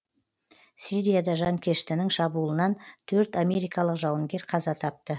сирияда жанкештінің шабуылынан төрт америкалық жауынгер қаза тапты